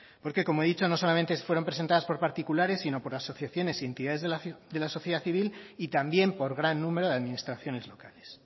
porque como he dicho no solamente fueron presentadas por particulares sino por asociaciones y entidades de la sociedad civil y también por gran número de administraciones locales